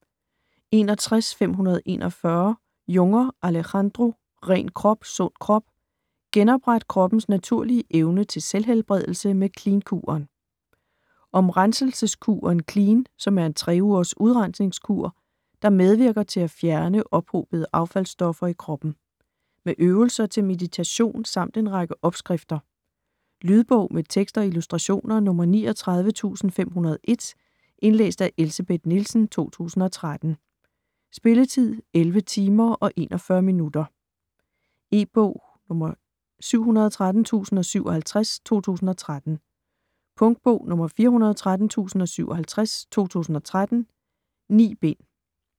61.541 Junger, Alejandro: Ren krop - sund krop: genopret kroppens naturlige evne til selvhelbredelse med Clean-kuren Om renselseskuren Clean, som er en 3-ugers udrensningskur, der medvirker til at fjerne ophobede affaldsstoffer i kroppen. Med øvelser til meditation samt en række opskrifter. Lydbog med tekst og illustrationer 39501 Indlæst af Elsebeth Nielsen, 2013. Spilletid: 11 timer, 41 minutter. E-bog 713057 2013. Punktbog 413057 2013. 9 bind.